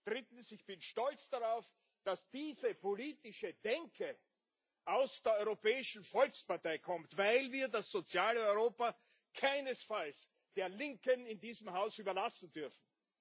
Drittens Ich bin stolz darauf, dass diese politische Denke aus der Europäischen Volkspartei kommt, weil wir das soziale Europa keinesfalls der Linken in diesem Haus überlassen dürfen.